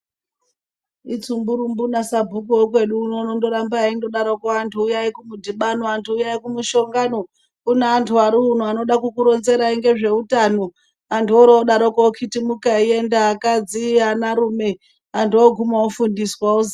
Itsumburumbu nasabhuku wekwedu uno unondoramba eindodarokwo antu uyai kumudhibano antu uyai kumushangano kune antu ariuno anoda kukuronzerai ngezveutano. Antu orodarokwo okhitimuka eienda akadzi, anarume antu oguma ofundiswa ozi.